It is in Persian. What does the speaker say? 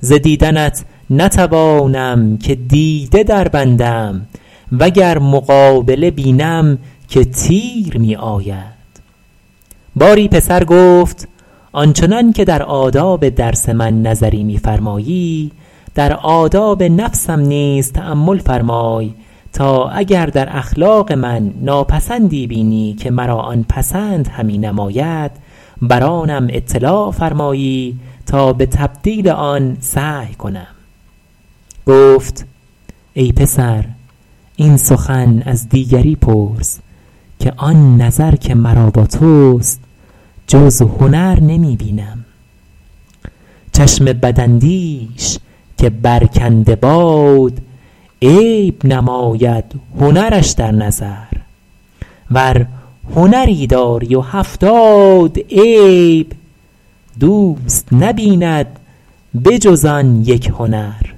ز دیدنت نتوانم که دیده دربندم و گر مقابله بینم که تیر می آید باری پسر گفت آن چنان که در آداب درس من نظری می فرمایی در آداب نفسم نیز تأمل فرمای تا اگر در اخلاق من ناپسندی بینی که مرا آن پسند همی نماید بر آنم اطلاع فرمایی تا به تبدیل آن سعی کنم گفت ای پسر این سخن از دیگری پرس که آن نظر که مرا با توست جز هنر نمی بینم چشم بداندیش که برکنده باد عیب نماید هنرش در نظر ور هنری داری و هفتاد عیب دوست نبیند به جز آن یک هنر